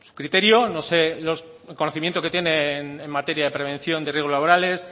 criterio no sé el conocimiento que tiene en materia de prevención de riesgos laborales